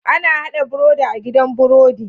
Ana hada birodi a gidan birodi